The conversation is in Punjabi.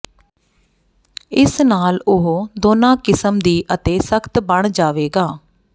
ਇਸ ਨਾਲ ਉਹ ਦੋਨਾਂ ਕਿਸਮ ਦੀ ਅਤੇ ਸਖਤ ਬਣ ਜਾਵੇਗਾ